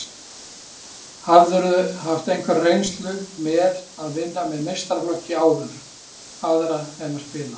Hafðirðu haft einhverja reynslu með að vinna með meistaraflokki áður, aðra en að spila?